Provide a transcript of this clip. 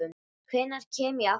Hvenær kem ég aftur?